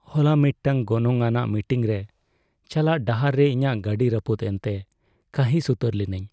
ᱦᱚᱞᱟ ᱢᱤᱫᱴᱟᱝ ᱜᱚᱱᱚᱝᱼᱟᱱᱟᱜ ᱢᱤᱴᱤᱝ ᱨᱮ ᱪᱟᱞᱟᱜ ᱰᱟᱦᱟᱨ ᱨᱮ ᱤᱧᱟᱹᱜ ᱜᱟᱹᱰᱤ ᱨᱟᱹᱯᱩᱫ ᱮᱱᱛᱮ ᱠᱟᱺᱦᱤᱥ ᱩᱛᱟᱹᱨ ᱞᱤᱱᱟᱹᱧ ᱾